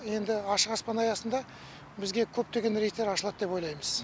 енді ашық аспан аясында бізге көптеген рейстер ашылады деп ойлаймыз